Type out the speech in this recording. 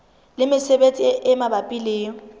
le mesebetsi e mabapi le